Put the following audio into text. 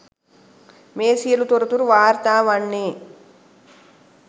මේ සියලු තොරතුරු වාර්තා වන්නේ